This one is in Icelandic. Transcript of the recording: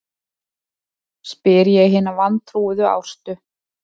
spyr ég hina vantrúuðu Ástu.